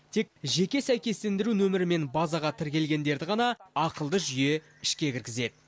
тек жеке сәйкестендіру нөмірімен базаға тіркелгендерді ғана ақылды жүйе ішке кіргізеді